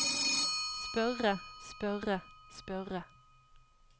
spørre spørre spørre